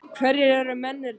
Hverjir eru mennirnir?